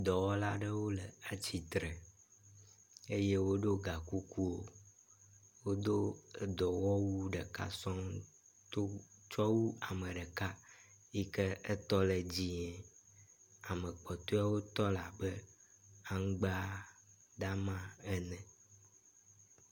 Dɔwɔla ɖewo le atsitre eye wodo gakuku. Wodo dɔwɔwu ɖeka sɔŋ tsɔwu ame ɖeka yi ke etɔ le dzẽe, ame kpɔtɔewo tɔ le abe aŋgbadama ene.